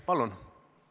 Palun!